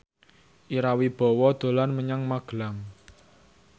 Ira Wibowo dolan menyang Magelang